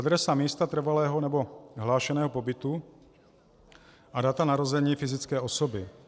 Adresa místa trvalého nebo hlášeného pobytu a data narození fyzické osoby.